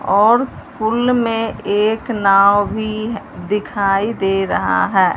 और पूल में एक नाव भी दिखाई दे रहा है।